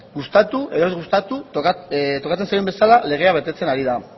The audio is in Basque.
gustatu edo ez gustatu tokatzen zaion bezala legea betetzen ari da